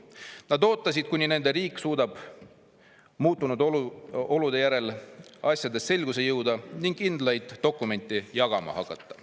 Nad ootasid, kuni nende riik suudab muutunud olude järel asjades selgusele jõuda ning kindlaid dokumente jagama hakata.